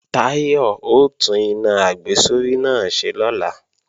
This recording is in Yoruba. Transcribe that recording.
Táyọ̀ ó tún iná àgbésórí náà ṣe lọ́la